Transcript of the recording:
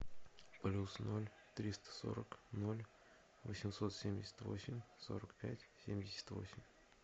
плюс ноль триста сорок ноль восемьсот семьдесят восемь сорок пять семьдесят восемь